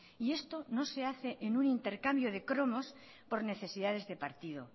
y esto no se hace en un intercambio de cromos por necesidades de partido